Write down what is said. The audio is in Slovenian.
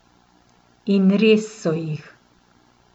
In res so jih!